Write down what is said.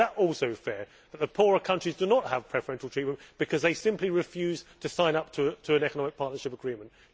Is it also fair that poorer countries do not have preferential treatment because they simply refuse to sign up to an economic partnership agreement?